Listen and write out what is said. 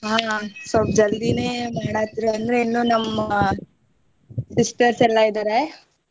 ಆ ಸ್ವಲ್ಪ ಜಲ್ದಿನೆ ಮಾಡಾತ್ರ್ ಅಂದ್ರೆ ಇನ್ನು ನಮ್ಮ sisters ಎಲ್ಲ ಇದ್ದಾರೆ.